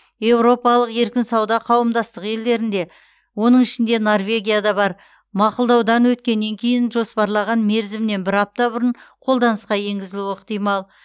еуропалық еркін сауда қауымдастығы елдерінде оның ішінде норвегия да бар мақұлдаудан өткеннен кейін жоспарлаған мерзімнен бір апта бұрын қолданысқа енгізілуі ықтимал